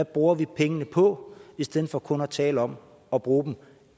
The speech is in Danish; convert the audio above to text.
bruger pengene på i stedet for kun at tale om at bruge dem